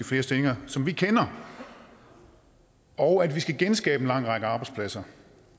flere stillinger som vi kender og at vi skal genskabe en lang række arbejdspladser